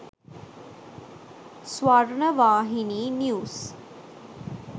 swarnavahini news